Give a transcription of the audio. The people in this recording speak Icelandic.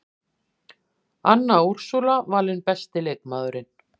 Anna Úrsúla valin besti leikmaðurinn